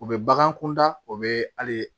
U bɛ bagan kunda u bɛ hali